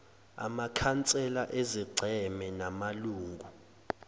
amakhansela ezigceme namalungu